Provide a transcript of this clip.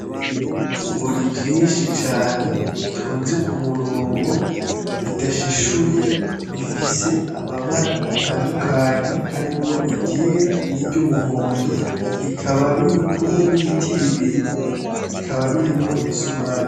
Ibigori vyinshi cane bitonze k'umurongo bidashishuye bifise amabara atandukanye harimwo iryera ni ry'umuhondo, bikaba biri kumwe n'ibiti bibiri bikaba birimwo imisumari.